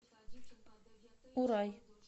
урай